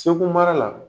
Segu mara la